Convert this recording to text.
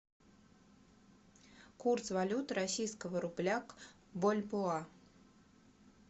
курс валют российского рубля к бальбоа